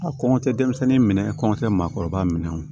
A kɔn tɛ denmisɛnnin minɛ a kɔntɛ maakɔrɔba minɛ